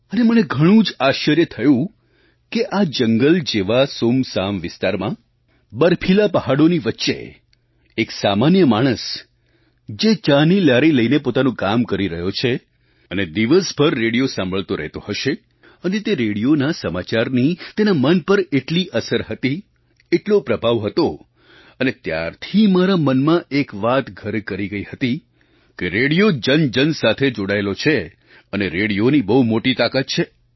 અને અને મને ઘણું જ આશ્ચર્ય થયું કે આ જંગલ જેવા સૂમસામ વિસ્તારમાં બર્ફીલા પહાડોની વચ્ચે એક સામાન્ય માણસ જે ચાની લારી લઈને પોતાનું કામ કરી રહ્યો છે અને દિવસભર રેડિયો સાંભળતો રહેતો હશે અને તે રેડિયોના સમાચારની તેના મન પર એટલી અસર હતી એટલો પ્રભાવ હતો અને ત્યારથી મારા મનમાં એક વાત ઘર કરી ગઈ હતી કે રેડિયો જનજન સાથે જોડાયેલો છે અને રેડિયોની બહુ મોટી તાકાત છે